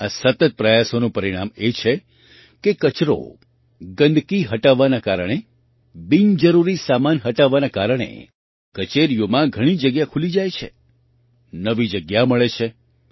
આ સતત પ્રયાસોનું પરિણામ એ છે કે કચરો ગંદકી હટવાના કારણે બિનજરૂરી સામાન હટવાના કારણે કચેરીઓમાં ઘણી જગ્યા ખુલી જાય છે નવી જગ્યા મળે છે